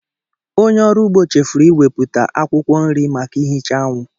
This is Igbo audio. Onye ọrụ ugbo chefuru iwepụta akwụkwọ nri maka ihicha anwụ